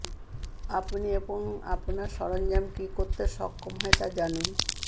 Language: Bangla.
আপনি এবং আপনার সরঞ্জাম কি করতে সক্ষম হয় তা জানুন